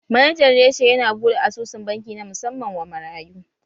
Manajan reshe yana buɗe asusun banki na musamman wa marayu.